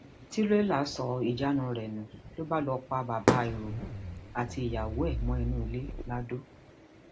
tírélà sọ ìjánu rẹ nù ló bá lọọ pa bàbá irọbó àti ìyàwó ẹ mọnú ilé lado